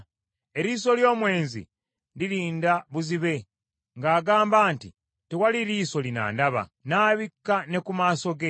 Eriiso ly’omwenzi lirinda buzibe, ng’agamba nti, ‘Tewali liiso linandaba,’ n’abikka ne ku maaso ge.